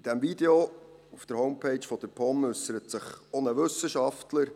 In diesem Video auf der Homepage der POM äussert sich auch ein Wissenschaftler.